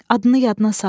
Adını yadına sal.